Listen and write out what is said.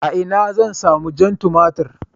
A ina zan sami jan tumatir?